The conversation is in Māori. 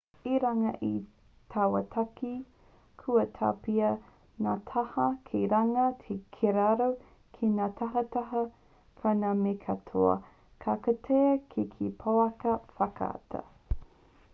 i runga i taua take kua tapahia ngā taha ki runga ki raro ki ngā tahataha o ngā mea katoa ka kitea ki te pouaka whakaata